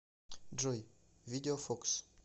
джой видео фокс